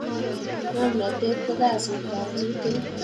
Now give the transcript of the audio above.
ngomnatet ko kasit ap chitukul